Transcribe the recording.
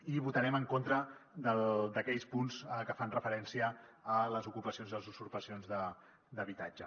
i votarem en contra d’aquells punts que fan referència a les ocupacions i a les usurpacions d’habitatge